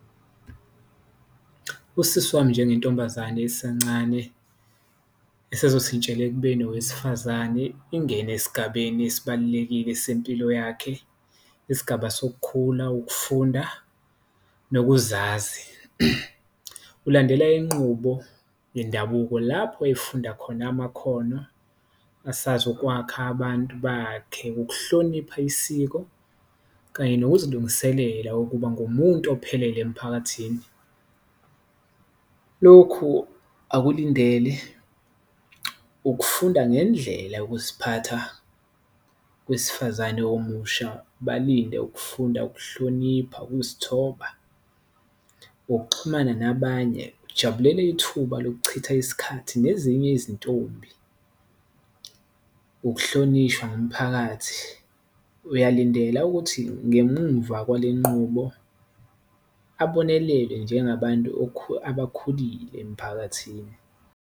Usisi wami njengentombazane esancane esazoshintshela ekubeni owesifazane ingene esigabeni esibalulekile sempilo yakhe, isigaba sokukhula, ukufunda nokuzazi ulandela inqubo yendabuko lapho efunda khona amakhono. Asazokwakha abantu bakhe, ukuhlonipha isiko kanye nokuzilungiselela ukuba ngumuntu ophelele emphakathini, lokhu akulandele ukufunda ngendlela ukuziphatha. Owesifazane omusha balinde ukufunda, ukuhlonipha, ukuzithoba, ukuxhumana nabanye, ujabulele ithuba lokuchitha isikhathi nezinye izintombi, ukuhlonishwa ngumphakathi, uyalindela ukuthi ngemumva kwale nqubo ababonelele njengabantu abakhulile emphakathini.